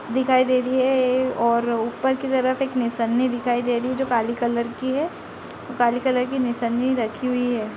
दिखाई दे रही है ये और ऊपर की तरफ एक निशाने दिखाई दे रही है जो काली कलर की है | काली कलर की निशानी रखी हुई है |